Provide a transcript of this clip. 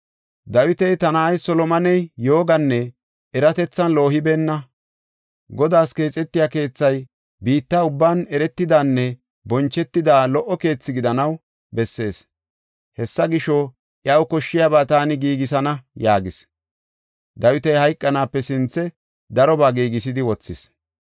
Dawiti, “Ta na7ay Solomoney yooganne eratethan loohibeenna. Godaas keexetiya keethay biitta ubban eretidanne bonchetida lo77o keethe gidanaw bessees. Hessa gisho, iyaw koshshiyaba taani giigisana” yaagis. Dawiti hayqanaape sinthe darobaa giigisidi wothis.